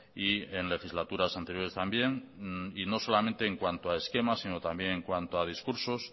y en legislaturas anteriores también y no solamente en cuanto a esquemas sino también en cuanto a discursos